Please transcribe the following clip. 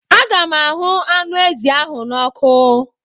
Aga m ahụ anụ ezi ahụ n'ọkụ.